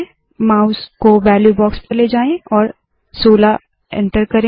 mouse को value box पर ले जाए और 16 एन्टर करे